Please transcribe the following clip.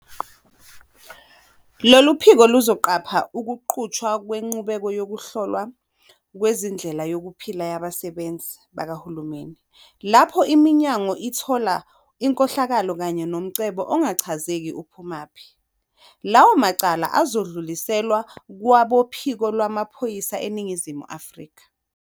Lolu phiko luzoqapha ukuqhutshwa kwenqubo yokuhlolwa kwendlela yokuphila yabasebenzi bakahulumeni. Lapho iminyango ithola inkohlakalo kanye nomcebo ongachazeki uphumaphi, lawo macala azodluliselwa kwaboPhiko Lwamaphoyisa eNingizimu Afrika.